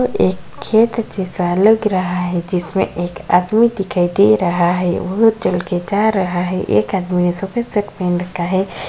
एक खेत जैसा लग रहा है जिसमें एक आदमी दिखाई दे रहा है वह चलकर जा रहा है एक आदमी सफेद शर्ट पहन रखा है।